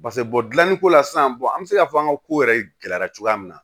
pase dilanniko la sisan an be se k'a fɔ an ka ko yɛrɛ gɛlɛyara cogoya min na